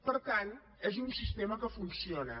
per tant és un sistema que funciona